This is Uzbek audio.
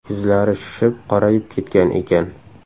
Yuzlari shishib, qorayib ketgan ekan.